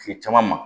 Kile caman ma